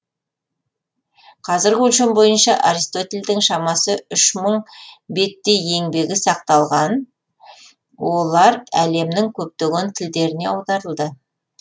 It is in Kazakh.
қазіргі өлшем бойынша аристотельдің шамасы үш мың беттей еңбегі сақталған олар әлемнің көптеген тілдеріне аударылды